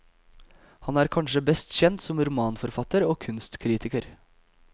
Han er kanskje best kjent som romanforfatter og kunstkritiker.